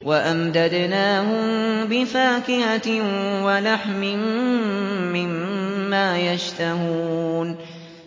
وَأَمْدَدْنَاهُم بِفَاكِهَةٍ وَلَحْمٍ مِّمَّا يَشْتَهُونَ